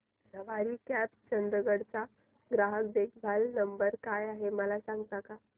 सवारी cabs Chandigarh चा ग्राहक देखभाल नंबर काय आहे मला सांगता का